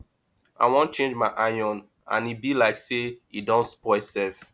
i wan change my iron and e be like say e don spoil sef